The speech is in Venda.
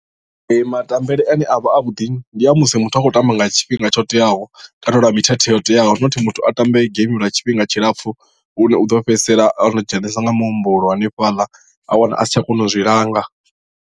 Ee matambele ane a vha a vhuḓi ndi a musi muthu a khou tamba nga tshifhinga tsho teaho kana lwa mithethe yo teaho nothi muthu a tambe geimi lwa tshifhinga tshilapfhu lune u ḓo fhedzisela o no dzhenesa nga muhumbulo hanefhala a wana a si tsha kona u zwi langa.